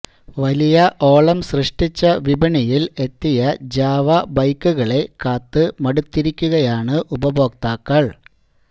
വലിയ ഓളം സൃഷ്ടിച്ച് വിപണിയില് എത്തിയ ജാവ ബൈക്കുകളെ കാത്തു മടുത്തിരിക്കുകയാണ് ഉപഭോക്താക്കള്